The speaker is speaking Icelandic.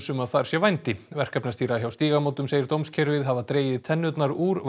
um að þar sé vændi hjá Stígamótum segir dómskerfið hafa dregið tennurnar úr